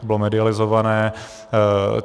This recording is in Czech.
To bylo medializované.